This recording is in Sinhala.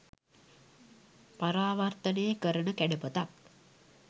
පරාවර්තනය කරන කැඩපතක්